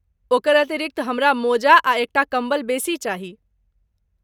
ओकर अतिरिक्त, हमरा मोजा आ एक टा कम्बल बेसी चाही।